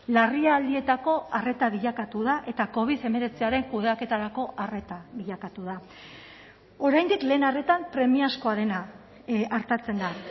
larrialdietako arreta bilakatu da eta covid hemeretziaren kudeaketarako arreta bilakatu da oraindik lehen arretan premiazkoa dena artatzen da